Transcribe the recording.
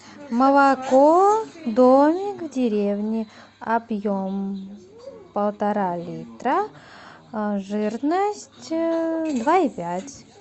молоко домик в деревне объем полтора литра жирность два и пять